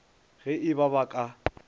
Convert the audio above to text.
ge e ba ba ka